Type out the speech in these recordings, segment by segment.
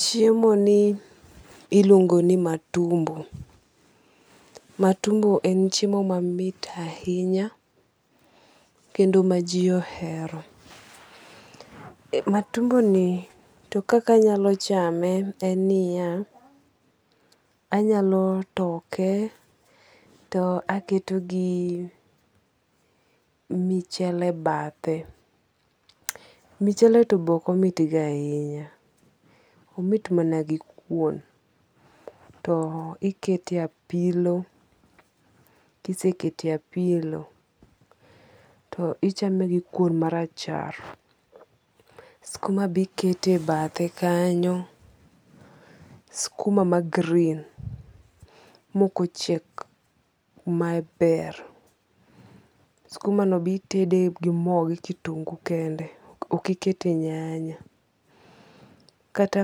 Chiemo ni iluongo ni matumbo. Matumbo en chiemo mamit ahinya. Kendo ma ji ohero. Matumbo ni to kaka anyalo chame en niya, anyalo toke to aketo gi michele bathe. Michele to be ok omit go ahinya. Omit mana gi kuon. To ikete apilo. Kisekete apilo to ichame gi kuon marachar. Skuma be ikete bathe kanyo. Skuma ma green mok ochiek maber. Skuma no be itede gi mo gi kitungu kende. Ok ikete nyanya. Kata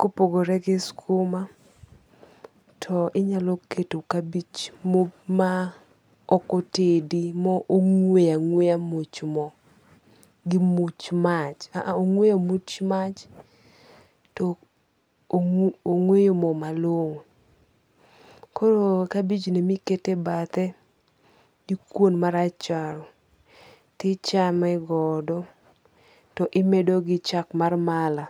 kopogore gi skuma, to inyalo keto kabich ma ok otedi mong'weyo ang'weya much mo gi much mach. A a ong'weyoo much mach to ong'weyo mo malong'o. Koro kabich ni emikete bathe gi kuon marachar tichame godo to imedo gi chak mar mala.